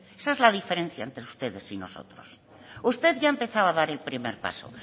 esa es la diferencia entre ustedes y nosotros usted ya ha empezado a dar el primer paso